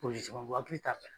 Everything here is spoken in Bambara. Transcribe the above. hakili t'a fɛ.